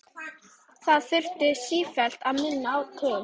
Það þurfti sífellt minna til.